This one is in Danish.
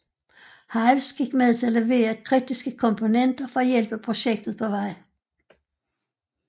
Hives gik med til at levere kritiske komponenter for at hjælpe projektet på vej